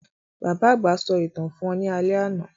Bàbá àgbà sọ ìtàn fún wa ní alé àná.